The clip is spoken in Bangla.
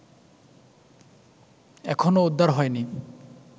এখনো উদ্ধার হয়নি